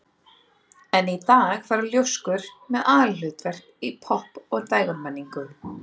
Enn í dag fara ljóskur með aðalhlutverk í popp- og dægurmenningu.